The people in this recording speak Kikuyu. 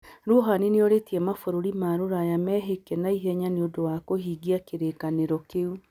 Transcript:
Rouhani nĩorĩtie mabururi ma rũraya mehĩke naihenya nĩ ũndũ wa kũhingia kĩrĩkanĩro kĩu.